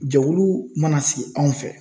Jɛkulu mana sigi anw fɛ